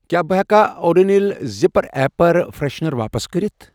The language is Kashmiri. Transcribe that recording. کیٛاہ بہٕٕ ہیٚکا اوڑونِل زِپر اییر فرٛٮ۪شنر واپس کٔرِتھ؟